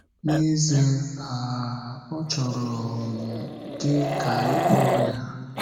N’ezie, um ọ chọrọ um gị ka ịkpo ya.